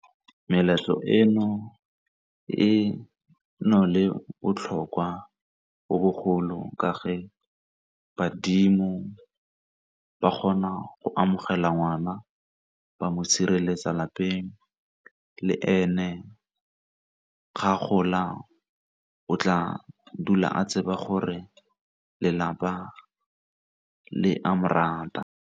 Meletlo eno e le botlhokwa jo bogolo ka fa badimo ba kgona go amogela ngwana ba mo sireletsa lapeng, le ene ga gola o tla dula a tseba gore lelapa le a morata.